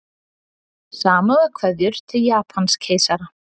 Samúðarkveðjur til Japanskeisara